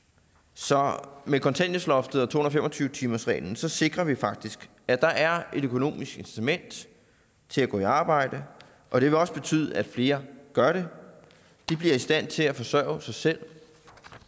så med kontanthjælpsloftet og to hundrede og fem og tyve timersreglen sikrer vi faktisk at der er et økonomisk incitament til at gå på arbejde og det vil også betyde at flere vil gøre det de bliver i stand til at forsørge sig selv